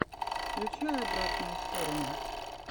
включай обратную сторону